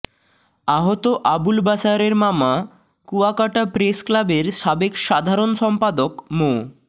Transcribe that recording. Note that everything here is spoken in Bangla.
আহত আবুল বাসারের মামা কুয়াকাটা প্রেসক্লাবের সাবেক সাধারন সম্পাদক মো